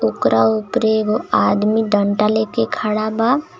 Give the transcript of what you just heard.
ओकरा उपरे एगो आदमी डंडा लेके खाड़ा बा.